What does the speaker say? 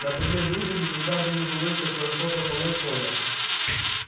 например людям никогда бы не удалось так хорошо прополоть поле